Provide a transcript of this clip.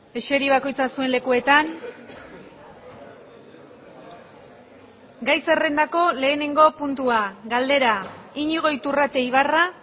eseri bakoitza zuen lekuetan gai zerrendako lehenengo puntua galdera iñigo iturrate ibarra